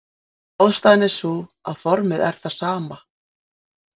Ástæðan er sú að formið er það sama.